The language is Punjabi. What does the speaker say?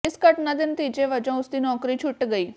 ਇਸ ਘਟਨਾ ਦੇ ਨਤੀਜੇ ਵਜੋਂ ਉਸ ਦੀ ਨੌਕਰੀ ਛੁੱਟ ਗਈ